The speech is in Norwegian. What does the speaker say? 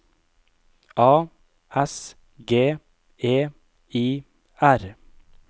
A S G E I R